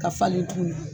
Ka falen tugun